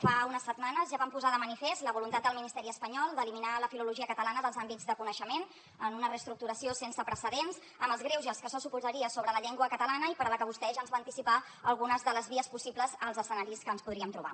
fa unes setmanes ja vam posar de manifest la voluntat del ministeri espanyol d’eliminar la filologia catalana dels àmbits de coneixement en una reestructuració sense precedents amb els greuges que això suposaria sobre la llengua catalana i per a la que vostè ja ens va anticipar algunes de les vies possibles als escenaris que ens podríem trobar